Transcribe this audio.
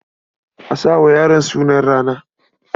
A sa wa yaron sunan rana.